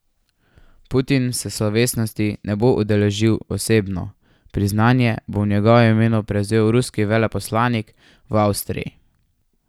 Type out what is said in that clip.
Putin se slovesnosti ne bo udeležil osebno, priznanje bo v njegovem imenu prevzel ruski veleposlanik v Avstriji.